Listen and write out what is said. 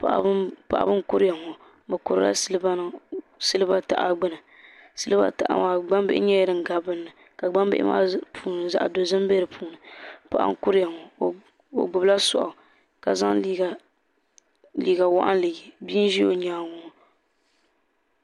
Paɣaba n kuriya ŋɔ bɛ kurila siliba taha gbini silibba taha maa gbambili nyɛla din gabi dini ka gbambili maa puuni zaɣa dozima bɛ dipuuni paɣa n kuriya ŋɔ o gbibila soaɣu ka zaŋ liiga waɣinli ye bia n ʒi o nyaanga ŋɔ.